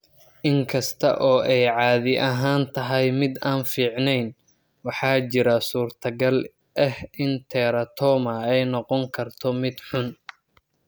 Inkasta oo ay caadi ahaan tahay mid aan fiicneyn, waxaa jira suurtagal ah in teratoma ay noqon karto mid xun.